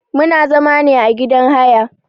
Muna zama ne a gidan haya.